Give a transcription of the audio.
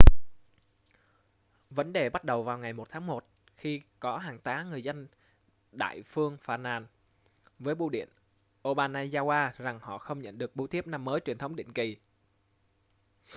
vấn đề bắt đầu vào ngày 1 tháng một khi có hàng tá người dân đại phương phàn nàn với bưu điện obanazawa rằng họ không nhận được bưu thiếp năm mới truyền thống định kỳ